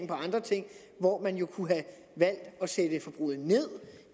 på andre ting hvor man jo kunne have at sætte forbruget ned